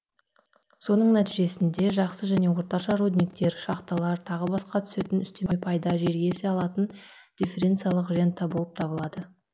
осының нәтижесінде жақсы және орташа рудниктер шахталар тағы басқа түсетін үстеме пайда жер иесі алатын дифференциалдық рента болып табылады